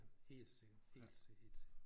Helt sikkert helt helt sikkert